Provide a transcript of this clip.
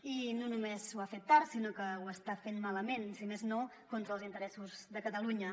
i no només ho ha fet tard sinó que ho està fent malament si més no contra els interessos de catalunya